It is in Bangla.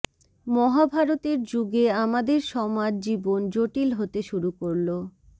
মহাভারতের যুগে আমাদের সমাজ জীবন জটিল হতে শুরু করলো